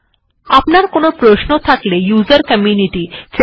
যদি আপনার কোনো প্রশ্ন থাকে তাহলে উসের কমিউনিটি তে অবশ্যই যোগাযোগ করতে পারেন